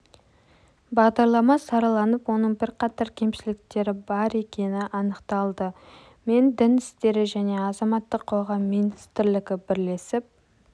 бағдарлама сараланып оның бірқатар кемшіліктері бар екені анықталды мен дін істері және азаматтық қоғам министрлігі бірлесіп